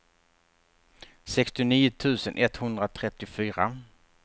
sextionio tusen etthundratrettiofyra